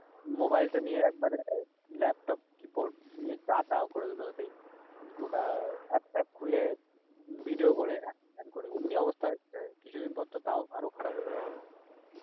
mobile টা নিয়ে একবারে laptop keyboard নিয়ে যা তা করে দিলে সেই গোটা এপ ট্যাপ খুলে video করে হ্যান তানকরে অমনি অবস্থা হয়েছে কিছুদিন পর তো আরো খারাপ হয়ে যাবে